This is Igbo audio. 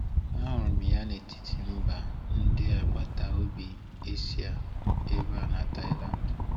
Ahụrụ m ya n’etiti mba ndị agbata obi Asia ebe a na Thailand.